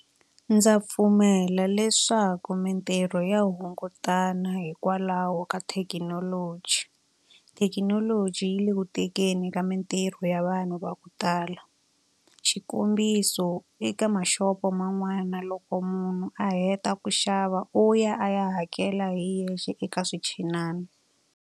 Ndza pfumela leswaku mintirho ya hungutana hikwalaho ka thekinoloji. Thekinoloji yi le ku tekeni ka mintirho ya vanhu va ku tala. Xikombiso eka mashopo man'wana loko munhu a heta ku xava u ya a ya hakela hi yexe eka swinchinana.